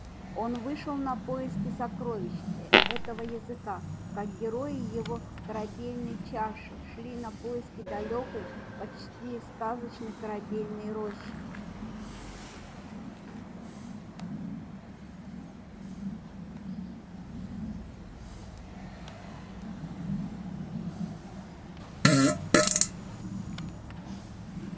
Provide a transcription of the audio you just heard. он вышел на поиски сокровищ э этого языка как герои его корабельной чаши шли на поиски далёкой почти сказочной корабельной рощи